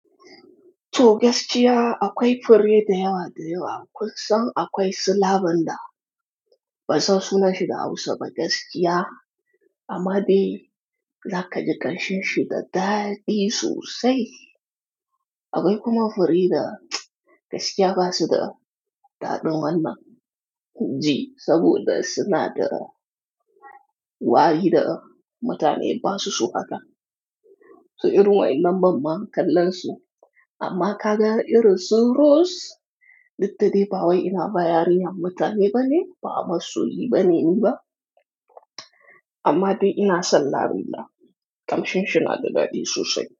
To gaskiya akwai fure da yawa da yawa. Kunsan akwai slabanda, ban san sunan shi da Hausa ba gaskiya, amma dai zaka ji ƙashin sa da daɗi sosai. Akwai kuma fure da gaskiya basu da daɗin wannan ji, saboda suna da wari da mutane basu so haka. To irin wa ƴannan ban ma kallon su, amma kaga irin su rose duk da dai ba wai ina ba yarinyar mutane bane ba masoyi bane ni ba. Amma dai ina son lavinda ƙamshin shi nada daɗi sosai.